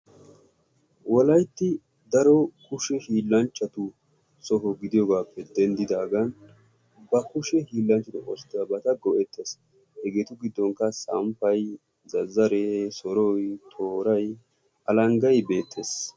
Wolaytti daro kushe hiilanchchatu soho gididoogappe denddidaagan. ba kushe hiilanchchatu oosetiyaabata oosetees. hegetu giddonkka samppay, zazzare, soroy, tooary alanggay beettees.